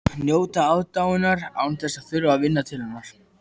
Ég þarf að drífa mig upp á